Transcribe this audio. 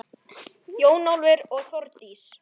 Jón Ólafur og Þórdís.